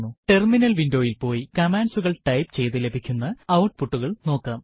terminal വിൻഡോയിൽ പോയി കമാൻഡ്സുകൾ ടൈപ്പ് ചെയ്തു ലഭിക്കുന്ന ഔട്പുട്ടുകൾ നോക്കാം